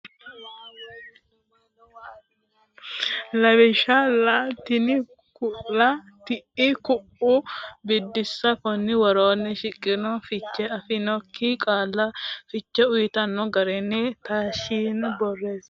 Lawishsha: laa, tiii, kuuu la”a, tii”i, kuu”u Biddissa Konni woroonni shiqqino fiche afidhinokki qaalla fiche uytanno garinni taashshite borreessite kifilete nabbawi.